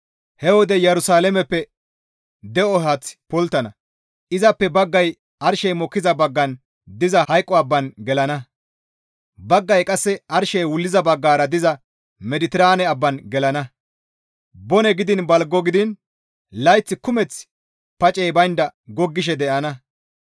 He wode Yerusalaameppe de7o haaththi pulttana; izappe baggay arshey mokkiza baggan diza hayqo abban gelana; baggay qasse arshey wulliza baggara diza Mediteraane abban gelana; bone gidiin balgo gidiin layth kumeth pacey baynda goggishe de7ana.